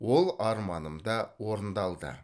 ол арманым да орындалды